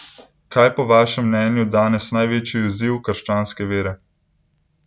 Kaj je po vašem mnenju danes največji izziv krščanske vere?